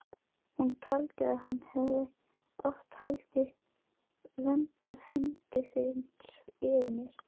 Hún taldi að hann hefði oft haldið verndarhendi yfir mér.